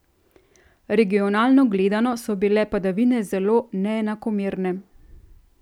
Regionalno gledano so bile padavine zelo neenakomerne.